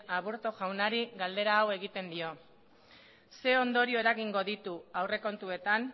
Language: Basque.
aburto jaunari galdera hau egiten dio zein ondorio eragingo ditu aurrekontuetan